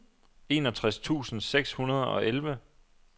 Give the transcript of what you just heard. enogtres tusind seks hundrede og elleve